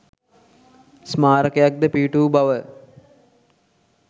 ස්මාරකයක් ද පිහිට වූ බව